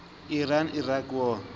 iran iraq war